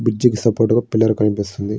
Bridge కి support గా pillar కనిపిస్తోంది.